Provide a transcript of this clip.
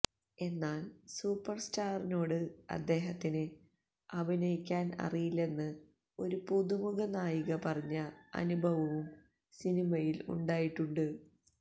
എന്നാല് സൂപ്പര് സ്റ്റാറിനോട് അദ്ദേഹത്തിന് അഭിനയിക്കാന് അറിയില്ലെന്ന് ഒരു പുതുമുഖ നായിക പറഞ്ഞ അനുഭവവും സിനിമയില് ഉണ്ടായിട്ടുണ്ട്